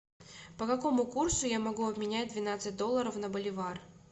по какому курсу я могу обменять двенадцать долларов на боливар